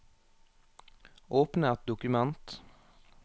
Åpne et dokument